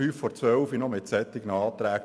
Nun kommen sehr kurzfristig solche Anträge.